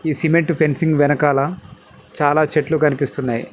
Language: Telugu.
ఈ సిమెంట్ ఫెన్సింగ్ వెనకాల చాలా చెట్లు కనిపిస్తున్నాయి.